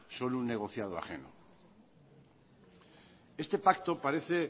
son un negociado ajeno este pacto parece